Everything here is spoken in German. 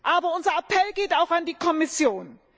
Aber unser Appell geht auch an die Kommission.